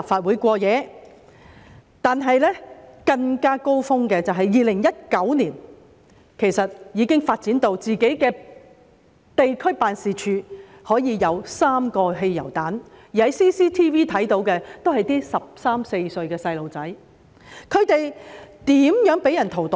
不過，高峰的時期是在2019年，已經發展至自己的地區辦事處被放置3個汽油彈，而我們在 CCTV 中看到涉案的是一些十三四歲的小孩，他們是如何被人荼毒的呢？